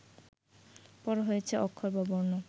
পরে হয়েছে অক্ষর বা বর্ণ